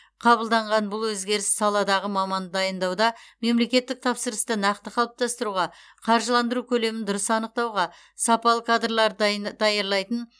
қабылданған бұл өзгеріс саладағы маманды дайындауда мемлекеттік тапсырысты нақты қалыптастыруға қаржыландыру көлемін дұрыс анықтауға сапалы кадрларды дай даярлайтын